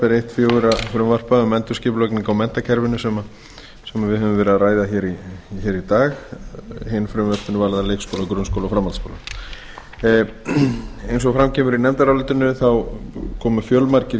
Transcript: fjögurra frumvarpa um endurskipulagningu á menntakerfinu sem við höfum verið að ræða hér í dag hin frumvörpin varða leikskóla grunnskóla og framhaldsskóla eins og fram kemur í nefndarálitinu þá komu fjölmargir